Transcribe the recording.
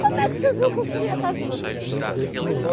Como é que vocês vão construir a casa de vocês?